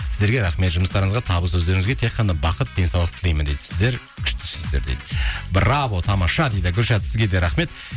сіздерге рахмет жұмыстарыңызға табыс өздеріңізге тек қана бақыт денсаулық тілеймін дейді сіздер күштісіздер дейді браво тамаша дейді гүлшат сізге де рахмет